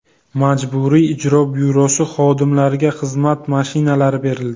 Majburiy ijro byurosi xodimlariga xizmat mashinalari berildi.